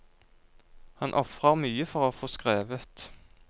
Han ofrer mye for å få skrevet.